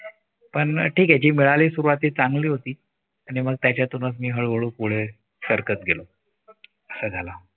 पण ठीक आहे. जी मिळाली सुरुवात चांगली होती. आणि मग त्यातूनच मिळून पुढे सरकत गेलो. असा झाला.